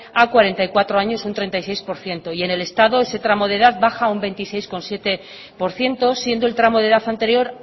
a cuarenta y cuatro años un treinta y seis por ciento y en el estado ese tramo de edad baja un veintiséis coma siete por ciento siendo el tramo de edad anterior